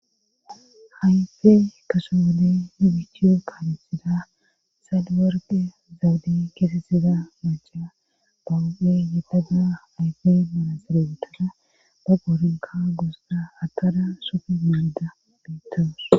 hayfe kaso wodey hibichio kaamithida sadiwerge zawudi keesesida maca bawo7e yedada hayfe manaserobitana ba qoorinka goosda hatara sufi mayyda beittoos